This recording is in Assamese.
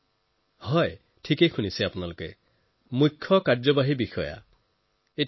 হয় আপুনি ঠিকেই শুনিছে কৃষক উৎপাদক সংঘৰ চিইঅ